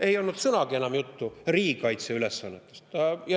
Ei olnud sõnagi enam juttu riigikaitseülesannetest.